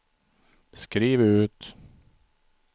skriv ut